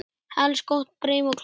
Helst gott brim og kletta.